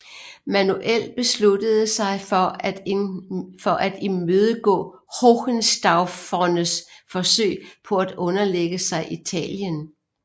Manuel besluttede sig til at imødegå hohenstaufernes forsøg på at underlægge sig Italien